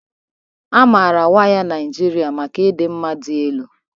A maara waya ndị Naijiria maka ịdị mma dị elu